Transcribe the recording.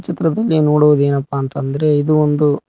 ಚಿತ್ರದಲ್ಲಿ ನೋಡುವುದೇನಪ್ಪಾ ಅಂತ್ ಅಂದ್ರೆ ಇದು ಒಂದು--